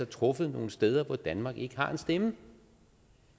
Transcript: truffet nogle steder hvor danmark ikke har en stemme